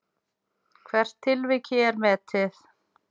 Hvert tilvik er metið.